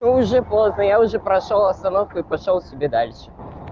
и уже поздно я уже прошёл остановку и пошёл себе дальше